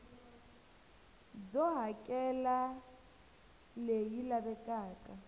byo hakela r leyi lavekaka